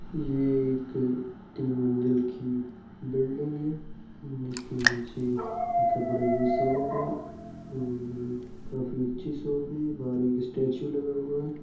ये एक तीन मंजिल की बिल्डिंग है जिसके नीचे कपड़े की शॉप है और काफी अच्छी शॉप है बाहर एक स्टैचू लगा हुआ है।